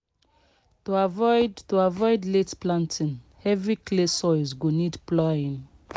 to avoid to avoid late planting heavy clay sois go need ploughing